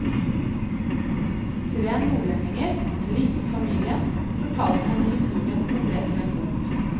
Tre nordlendinger, en liten familie, fortalte henne historien som ble til en bok.